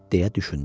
Deyə düşündü.